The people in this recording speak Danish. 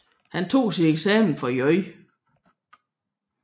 Han tog sin eksamen fra J